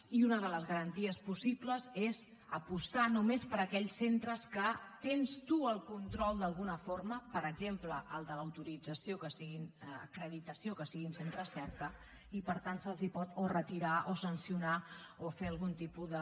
i una de les garanties possibles és apostar només per aquells centres que tens tu el control d’alguna forma per exemple el de l’acreditació que siguin centres cerca i per tant se’ls pot o retirar o sancionar o fer algun tipus de